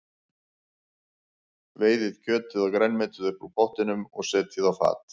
Veiðið kjötið og grænmetið upp úr pottinum og setjið á fat.